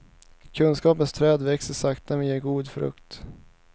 Kunskapens träd växer sakta men ger god frukt.